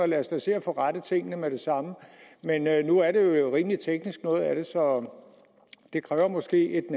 lad os da se at få rettet tingene med det samme men nu er det rimelig teknisk så det kræver måske